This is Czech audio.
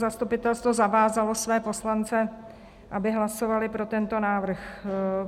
Zastupitelstvo zavázalo své poslance, aby hlasovali pro tento návrh.